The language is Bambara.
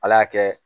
Ala y'a kɛ